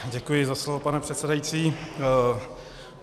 Děkuji za slovo, pane předsedající.